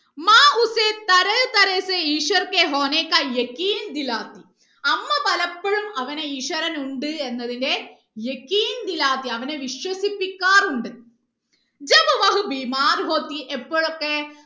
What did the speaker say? ഈശ്വർ അമ്മ പലപ്പോഴും അവനെ ഈശ്വരൻ ഉണ്ട് എന്നതിന്റെ അവനെ വിശ്വസിപ്പിക്കാറുണ്ട് എപ്പോയൊക്കെ